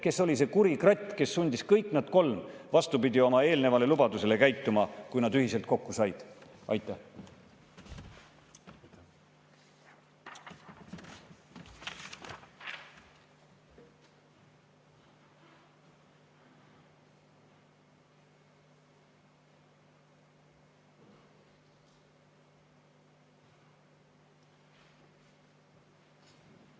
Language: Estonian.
Kes oli see kuri kratt, kes sundis nad kõik kolm käituma vastupidi oma eelnevale lubadusele, kui nad ühiselt kokku said?